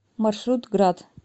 маршрут градъ